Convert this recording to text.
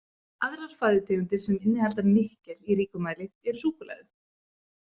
Aðrar fæðutegundir sem innihalda nikkel í ríkum mæli eru súkkulaði.